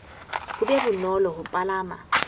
ho be bonolo ho palama